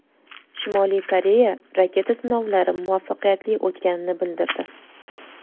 Shimoliy Koreya raketa sinovlari muvaffaqiyatli o‘tganini bildirdi.